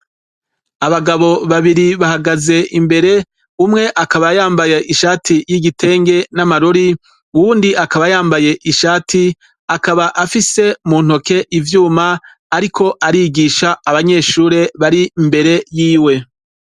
Abagabo babiri bahagaze imbere umwe akaba yambaye ishati y'igitenge n'amarori uwundi akaba yambaye ishati akaba afise ivyuma mu ntoke ariko arigisha abanyeshure bari imbere yiwe.